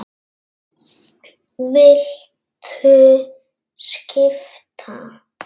Viltu skipta?